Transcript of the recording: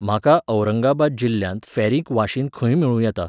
म्हाका औरंगाबाद जिल्ल्यांत फॅरिक वाशीन खंय मेळूं येता?